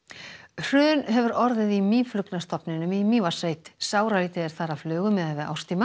hrun hefur orðið í mýflugnastofninum í Mývatnssveit sáralítið er þar af flugu miðað við árstíma